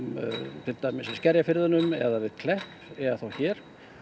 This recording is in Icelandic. til dæmis eins Skerjafirðinum eða við Klepp eða þá hér